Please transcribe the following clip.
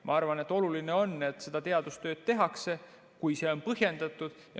Ma arvan, et oluline on, et seda teadustööd tehakse, kui see on põhjendatud.